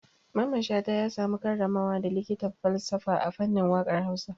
Mamman Shata ya samu karramawa da likitan falsafa a fannin waƙar Hausa.